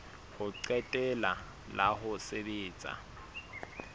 ho qetela la ho sebetsa